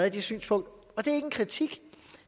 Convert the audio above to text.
i det synspunkt og det er ikke en kritik